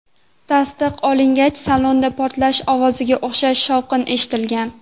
Tasdiq olingach, salonda portlash ovoziga o‘xshash shovqin eshitilgan.